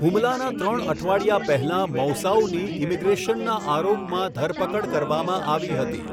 હુમલાના ત્રણ અઠવાડિયા પહેલાં મૌસાઉની ઈમિગ્રેશનના આરોપમાં ધરપકડ કરવામાં આવી હતી.